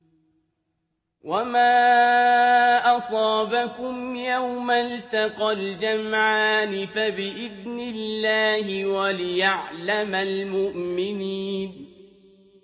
وَمَا أَصَابَكُمْ يَوْمَ الْتَقَى الْجَمْعَانِ فَبِإِذْنِ اللَّهِ وَلِيَعْلَمَ الْمُؤْمِنِينَ